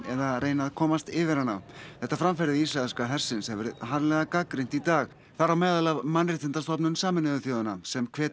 eða reyna að komast yfir hana þetta framferði ísraelska hersins hefur verið harðlega gagnrýnt í dag þar á meðal af Mannréttindastofnun Sameinuðu þjóðanna sem hvetur